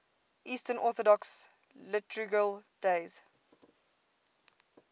eastern orthodox liturgical days